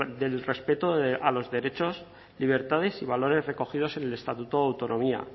del respeto a los derechos libertades y valores recogidos en el estatuto de autonomía